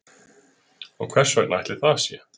Og hversvegna ætli það sé